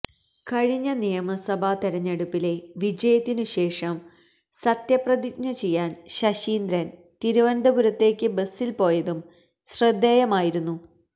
കഴിഞ്ഞ നിയമസഭ തിരഞ്ഞെടുപ്പിലെ വിജയത്തിനു ശേഷം സത്യപ്രതിജ്ഞ ചെയ്യാന് ശശീന്ദ്രൻ തിരുവനന്തപുരത്തേക്ക് ബസിൽ പോയതും ശ്രദ്ധേയമായിരുന്നു